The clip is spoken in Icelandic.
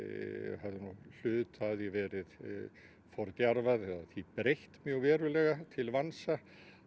hafði hluta af því verið breytt verulega til vansa